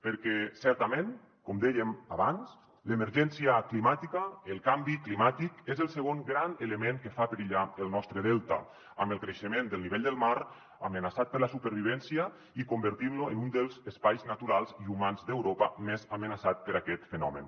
perquè certament com dèiem abans l’emergència climàtica el canvi climàtic és el segon gran element que fa perillar el nostre delta amb el creixement del nivell del mar amenaçant ne la supervivència i convertint lo en un dels espais naturals i humans d’europa més amenaçat per aquest fenomen